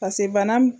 pase bana